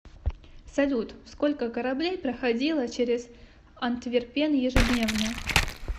салют сколько кораблей проходило через антверпен ежедневно